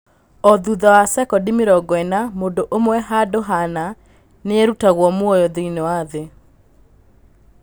O thutha wa sekondi mĩrongo ĩna mũndũ ũmwe handũ hana, nĩerutaga muoyo thĩiniĩ wa thĩ.